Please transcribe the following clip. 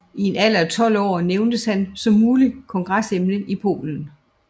I en alder af 12 år nævntes han som muligt kongsemne i Polen